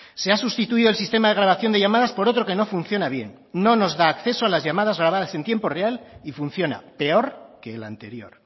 se ha sustituido el sistema de grabación de llamadas por otro que no funciona bien no nos da acceso a las llamadas grabadas en tiempo real y funciona peor que el anterior